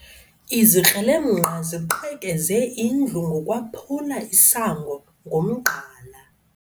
Izikrelemnqa ziqhekeze indlu ngokwaphula isango ngomgqala.